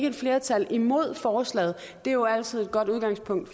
et flertal imod forslaget det er jo altid et godt udgangspunkt